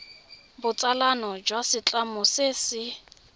botsalano jwa setlamo se se